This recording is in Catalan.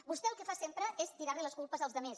vostè el que fa sempre és tirar les culpes als altres